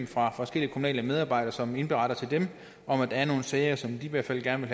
fra forskellige kommunale medarbejdere som indberetter til dem om at der er nogle sager som de i hvert fald gerne